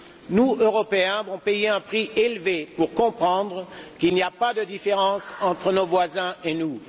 Nous, Européens, avons payé un prix élevé pour comprendre qu'il n'y a pas de différence entre nos voisins et nous.